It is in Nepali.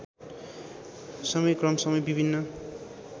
समय क्रमसँगै विभिन्न